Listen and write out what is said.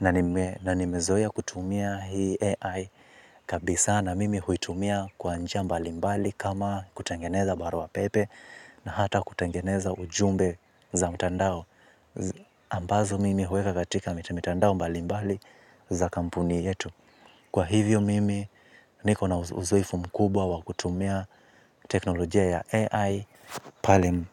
na nime. Na nimezoea kutumia hii AI. Kabisa na mimi huitumia kwa njia mbali mbali kama kutengeneza barua pepe na hata kutengeneza ujumbe za mtandao. Ambazo mimi huweka katika mitandao mbalimbali za kampuni yetu. Kwa hivyo mimi, niko na uzoefu mkubwa wa kutumia teknolojia ya AI pale.